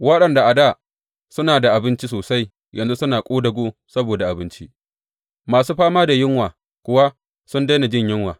Waɗanda a dā suna da abinci sosai; yanzu suna ƙodago saboda abinci, masu fama da yunwa kuwa sun daina jin yunwa.